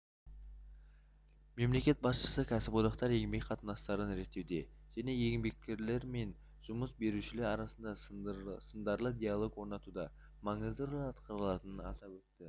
мемлекет басшысы кәсіподақтар еңбек қатынастарын реттеуде және еңбеккерлер мен жұмыс берушілер арасында сындарлы диалог орнатуда маңызды рөл атқаратынын атап өтті